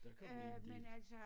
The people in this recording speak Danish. Der kom jeg en del